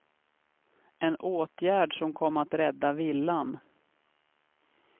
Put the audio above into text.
En åtgärd som kom att rädda villan.